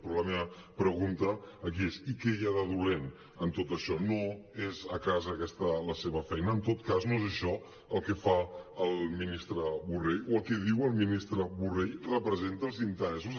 però la meva pregunta aquí és i què hi ha de dolent en tot això és que aquesta no és la seva feina en tot cas no és això el que fa el ministre borrell o el que diu el ministre borrell representa els interessos